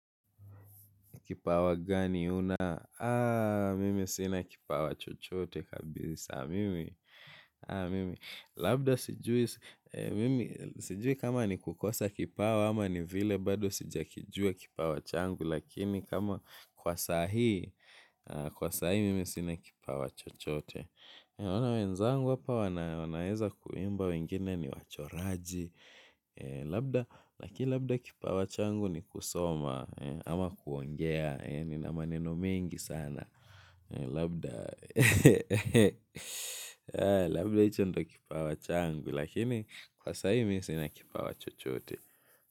Kipawa gani una? Mimi sina kipawa chochote kabisa mimi mimi. Labda sijui, mimi, sijui kama ni kukosa kipawa ama ni vile bado sijakijua kipawa changu. Lakini kama kwa saa hii, kwa saa hii mimi sina kipawa chochote. Naona wenzangu hapa wanaweza kuimba wengine ni wachoraji. Labda, lakini labda kipawa changu ni kusoma ama kuongea nina maneno mengi sana labda, labda hicho ndyio kipawa changu lakini kwa saa hii mimi sina kipawa chochote.